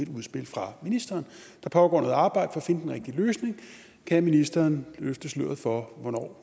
et udspil fra ministeren der pågår noget arbejde for at finde den rigtige løsning kan ministeren løfte sløret for hvornår